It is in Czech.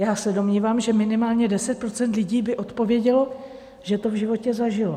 Já se domnívám, že minimálně 10 % lidí by odpovědělo, že to v životě zažilo.